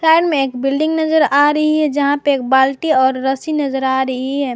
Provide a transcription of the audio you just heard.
Side में एक building नजर आ रही है जहां पे एक बाल्टी और रस्सी नजर आ रही है।